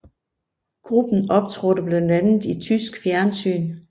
Gruppen optrådte blandt andet i tysk fjernsyn